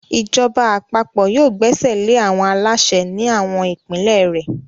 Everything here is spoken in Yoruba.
Ìjọba àpapọ̀ yóò gbẹ́sẹ̀lé àwọn aláṣẹ ní àwọn ìpínlẹ̀ rẹ̀.